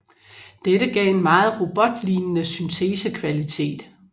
Dette gav en meget robotlignende syntesekvalitet